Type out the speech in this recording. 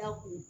Da kun